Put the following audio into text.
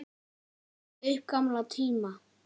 Ég rifjaði upp gamla tíma.